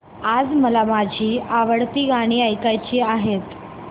आज मला माझी आवडती गाणी ऐकायची आहेत